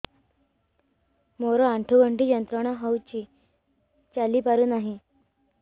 ମୋରୋ ଆଣ୍ଠୁଗଣ୍ଠି ଯନ୍ତ୍ରଣା ହଉଚି ଚାଲିପାରୁନାହିଁ